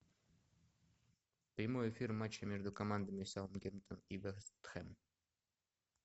прямой эфир матча между командами саутгемптон и вест хэм